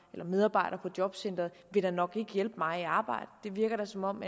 der medarbejder på jobcenteret da nok ikke vil hjælpe mig i arbejde det virker da som om